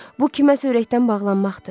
Bu, kiməsə ürəkdən bağlanmaqdır.